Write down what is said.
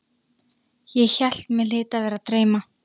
Ég hélt mig hlyti að vera að dreyma.